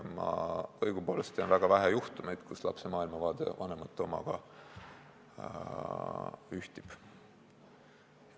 Ma õigupoolest tean väga vähe juhtumeid, kus lapse maailmavaade vanemate omaga ühtib.